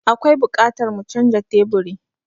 Akwai buƙatar mu canja teburi.